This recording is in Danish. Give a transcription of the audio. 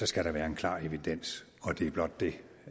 skal der være en klar evidens og det er blot det